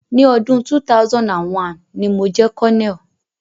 Ni ọdún 2001, ni mo jẹ́ colonel.